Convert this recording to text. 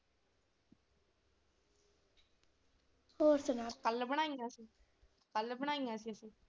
ਹੋਰ ਸੁਣਾ ਕੱਲ ਬਣਾਈਆਂ ਸੀ ਕੱਲ ਬਣਾਈਆਂ ਸੀ ਅਸੀਂ।